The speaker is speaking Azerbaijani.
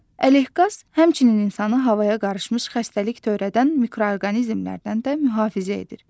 Ələqaz həmçinin insanı havaya qarışmış xəstəlik törədən mikroorqanizmlərdən də mühafizə edir.